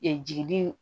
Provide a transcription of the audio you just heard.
jigidi